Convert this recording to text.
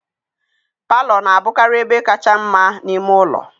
Palọ na-abụkarị ebe kacha mma n'ime ụlọ